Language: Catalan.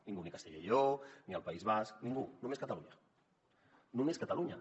ningú ni castella i lleó ni el país basc ningú només catalunya només catalunya